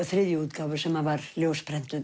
þriðju útgáfu sem var